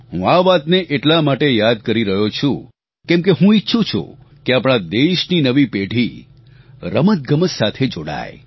હું આ વાતને એટલા માટે યાદ કરી રહ્યો છું કેમકે હું ઇચ્છું છું કે આપણા દેશની નવી પેઢી રમતગમત સાથે જોડાય